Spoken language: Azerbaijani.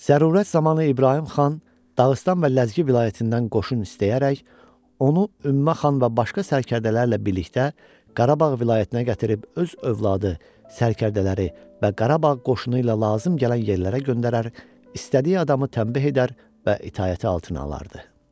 Zərurət zamanı İbrahim xan Dağıstan və Ləzgi vilayətindən qoşun istəyərək onu Ümmə xan və başqa sərkərdələrlə birlikdə Qarabağ vilayətinə gətirib öz övladı, sərkərdələri və Qarabağ qoşunu ilə lazım gələn yerlərə göndərər, istədiyi adamı tənbih edər və itaəti altına alardı.